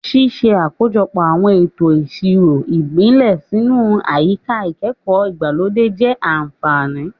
Ṣíṣe àkójọpọ̀ àwọn ètò ìṣirò ìbílẹ̀ sínú àyíká ìkẹ́kọ̀ọ́ ìgbàlódé jẹ́ àfààní.